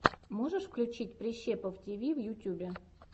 можешь включить прищепов тиви в ютюбе